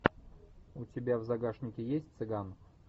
у тебя в загашнике есть цыган